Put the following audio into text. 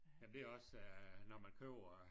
Jamen det er også øh når man køber